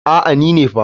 A'a ni ne fa.